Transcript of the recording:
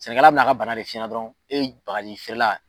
Sɛnɛkɛla bina ka bana de f'i ɲɛna dɔrɔn e bagajifeerela.